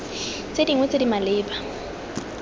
tse dingwe tse di maleba